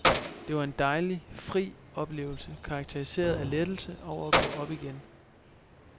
Det var en dejlig, fri oplevelse karakteriseret af lettelse over at gå op igen.